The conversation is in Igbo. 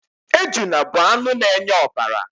Ejuna bụ anụ na-enye ọbara.